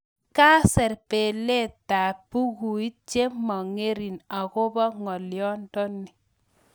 Kaser belelietab bukuit che mongering agobo ngolyondoni